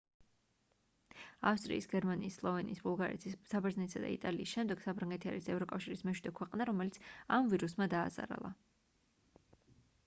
ავსტრიის გერმანიის სლოვენიის ბულგარეთის საბერძნეთისა და იტალიის შემდეგ საფრანგეთი არის ევროკავშირის მე-7 ქვეყანა რომელიც ამ ვირუსმა დააზარალა